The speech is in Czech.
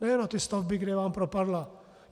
Nejen na ty stavby, kde vám propadla.